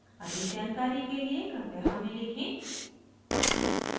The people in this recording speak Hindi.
अधिक जानकारी के लिए कृपया हमें लिखें